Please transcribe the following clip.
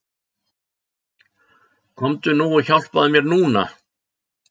Komdu nú og hjálpaðu mér NÚNA!